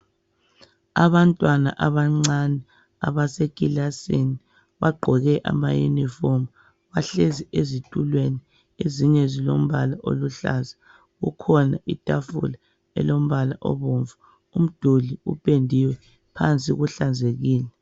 Abantwana abancane abasekilasini bagqoke ama uniform. Bahlezi esitulweni ezinye ezilombala oluhlaza. Kukhona itafula elombala obomvu. Umduli upendiwe. Phansi kuhlanzekile.